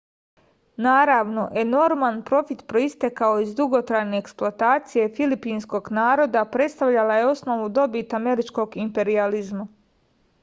naravno enorman profit proistekao iz dugotrajne eksploatacije filipinskog naroda predstavljala je osnovnu dobit američkog imperijalizma